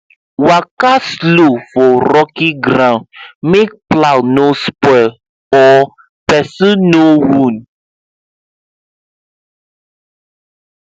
waka slow for rocky ground make plow no spoil or person no wound